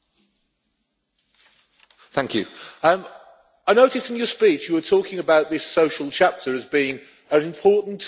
I noticed in your speech, you were talking about this social chapter as being an important tool to be used against political parties in their own countries.